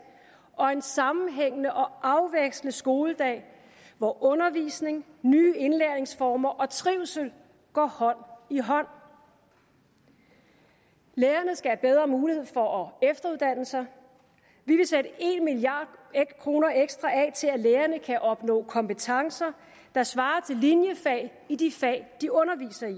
og en sammenhængende og afvekslende skoledag hvor undervisning nye indlæringsformer og trivsel går hånd i hånd lærerne skal have bedre muligheder for at efteruddanne sig vi vil sætte en milliard kroner ekstra af til at lærerne kan opnå kompetencer der svarer til linjefag i de fag de underviser i